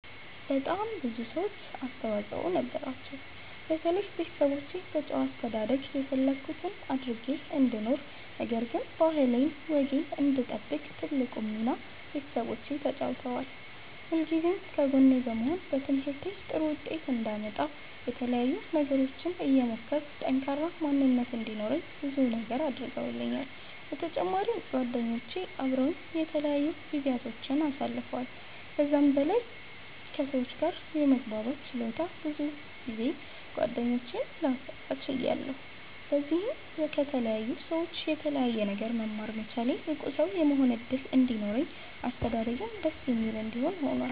በጣም ብዙ ሰዎች አስተዋፅኦ ነበራቸዉ። በተለይ ቤተሰቦቼ በጨዋ አስተዳደግ የፈለኩት አድርጌ እንድኖር ነገር ግን ባህሌን ወጌን እንድጠብቅ ትልቁን ሚና ቤተሰቦቼ ተጫዉተዋል። ሁልጊዜም ከጎኔ በመሆን በትምህርቴ ጥሩ ዉጤት አንዳመጣ የተለያዩ ነገሮችን እየሞከርኩ ጠንካራ ማንነት እንዲኖረኝ ብዙ ነገር አድርገዉልኛል። በተጫማሪም ጓደኞቼ አበረዉኝ የተለያዩ ጊዚያቶችን አሳልፈዋል። ከዛም በላይ በለኝ ከ ሰዎች ጋር የመግባባት ችሎታ ብዙ ጌደኞችን ላፈራ ችያለሁ። በዚህም ከተለያዩ ሰዎች የተለያየ ነገር መማር መቻሌ ብቁ ሰዉ የመሆን እድል እንዲኖረኝ አስተዳደጌም ደስ የሚል እንዲሆን ሁኗል።